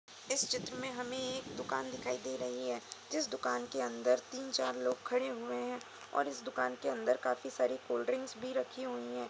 इस चित्र में हमें एक दुकान दिखाई दे रही है जिस दुकान के अंदर तीन-चार लोग खड़े हुए हैं और इस दुकान के अंदर का काफी सारी कोलड्रिंक भी रखी हुई हैं।